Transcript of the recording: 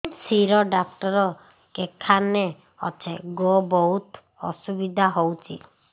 ଶିର doctor କେଖାନେ ଅଛେ ଗୋ ବହୁତ୍ ଅସୁବିଧା ହଉଚି